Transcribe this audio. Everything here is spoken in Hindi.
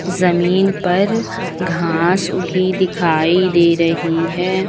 जमीन पर घास उगी दिखाई दे रही है।